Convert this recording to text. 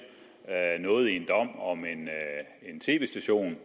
noget i en dom om en tv station